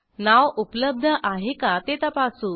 नाव उपलब्ध आहे का ते तपासू